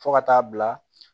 Fo ka taa bila